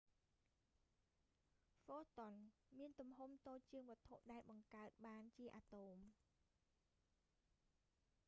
ហ្វូតុន មានទំហំតូចជាងវត្ថុដែលបង្កើតបានជាអាតូម